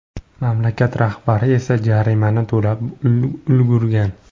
Mamlakat rahbari esa jarimani to‘lab ulgurgan.